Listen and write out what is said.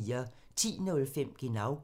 10:05: Genau